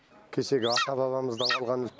кешегі ата бабамыздан қалған